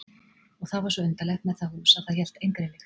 Og það var svo undarlegt með það hús að það hélt engri lykt.